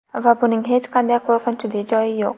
Va buning hech qanday qo‘rqinchli joyi yo‘q”.